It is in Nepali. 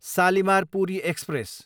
सालिमार, पुरी एक्सप्रेस